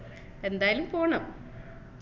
എന്തായാലും പോണം